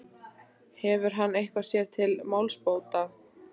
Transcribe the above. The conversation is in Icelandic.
Hefur hann eitthvað sér til málsbóta?